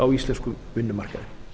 á íslenskum vinnumarkaði